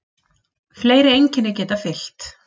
Fleiri einkenni geta einnig fylgt.